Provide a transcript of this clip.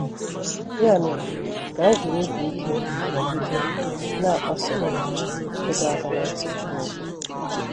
Ya mere ka anyị jiri obi ike nọgide na - akpọsa ịdọ aka ná ntị Chineke!